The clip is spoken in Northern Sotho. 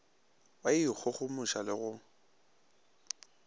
wa go ikgogomoša le go